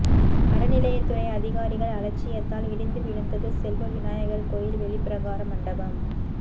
அறநிலையத்துறை அதிகாரிகள் அலட்சியத்தால் இடிந்து விழுந்தது செல்வ விநாயகர் கோயில் வெளிப்பிரகார மண்டபம்